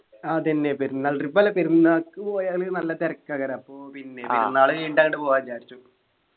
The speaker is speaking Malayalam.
ആഹ് അതെന്നെ പെരുന്നാൾ Trip അല്ല പെരുന്നാള്ക്ക് പോയാല് നല്ല തിരക്കാകാർ അപ്പൊ പിന്നെ പെരുനാൾ കഴിഞ്ഞിട്ട് അങ്ങ് പോകാ വിചാരിച്ചു